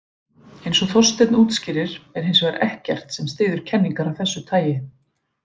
Eins og Þorsteinn útskýrir er hins vegar ekkert sem styður kenningar af þessu tagi.